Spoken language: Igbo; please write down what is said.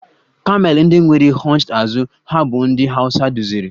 Kamel ndị nwere hunched azụ ha bụ ndị Hausa duziri.